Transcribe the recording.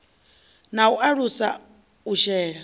na u alusa u shela